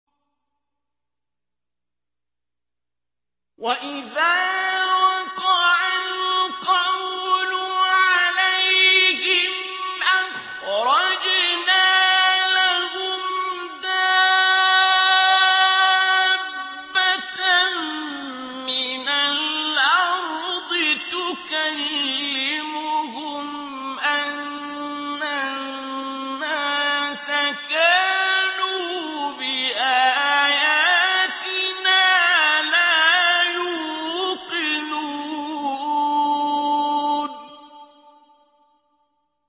۞ وَإِذَا وَقَعَ الْقَوْلُ عَلَيْهِمْ أَخْرَجْنَا لَهُمْ دَابَّةً مِّنَ الْأَرْضِ تُكَلِّمُهُمْ أَنَّ النَّاسَ كَانُوا بِآيَاتِنَا لَا يُوقِنُونَ